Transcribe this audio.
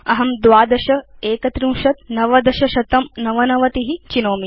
अहं 12 31 1999 चिनोमि